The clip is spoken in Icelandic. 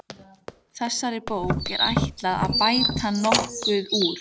Þessari bók er ætlað að bæta hér nokkuð úr.